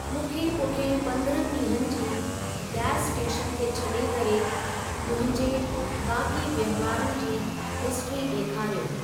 मूंखे पुठियें पंद्रहनि डीं॒हंनि जी, गैस स्टेशन खे छ्ॾे करे, मुंहिंजे बाक़ी वहिंवारनि जी हिस्ट्री ॾेखारियो।